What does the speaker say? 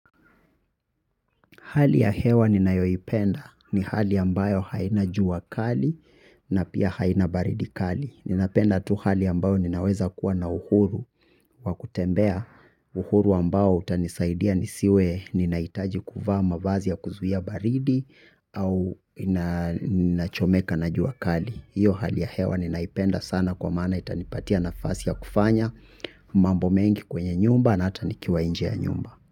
Hali ya hewa ninayoipenda ni hali ambayo haina jua kali na pia haina baridi kali. Ninapenda tu hali ambayo ninaweza kuwa na uhuru wa kutembea uhuru ambao utanisaidia nisiwe ninahitaji kuvaa mavazi ya kuzuia baridi au ninachomeka na jua kali. Hiyo hali ya hewa ninaipenda sana kwa maana itanipatia nafasi ya kufanya mambo mengi kwenye nyumba na hata nikiwa nje ya nyumba.